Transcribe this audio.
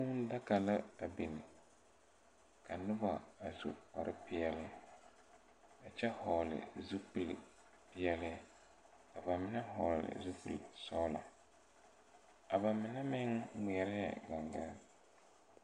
Kūū daka la a biŋ ka nobɔ a su lpare peɛle a kyɛ hɔɔle zupile peɛle ka ba mine hɔɔle zupile sɔglɔ a ba mine meŋ ngmeɛrɛ gaŋgaare.